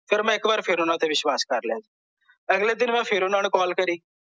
ਫਿਰ ਮੈਂ ਇੱਕ ਵਾਰ ਫੇਰ ਓਹਨਾਂ ਤੇ ਵਿਸ਼ਵਾਸ ਕਰ ਲਿਆ ਅਗਲੇ ਦਿਨ ਮੈਂ ਫੇਰ ਓਹਨਾਂ ਨੂੰ ਕਾਲ ਕਰੀ